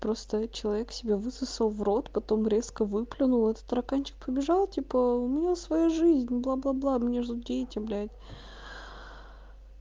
просто человек себе высосал в рот потом резко выплюнул в стаканчик побежал типа у меня своя жизнь бла-бла-бла меня ждут дети блять